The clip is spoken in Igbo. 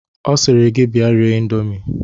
Ọ sịrị gị bịa rie ịndomi